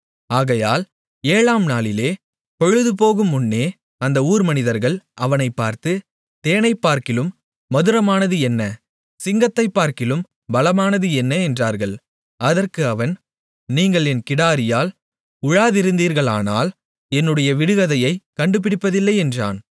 ஆகையால் ஏழாம் நாளிலே பொழுது போகுமுன்னே அந்த ஊர் மனிதர்கள் அவனைப் பார்த்து தேனைப்பார்க்கிலும் மதுரமானது என்ன சிங்கத்தைப்பார்க்கிலும் பலமானதும் என்ன என்றார்கள் அதற்கு அவன் நீங்கள் என் கிடாரியால் உழாதிருந்தீர்களானால் என்னுடைய விடுகதையைக் கண்டுபிடிப்பதில்லை என்றான்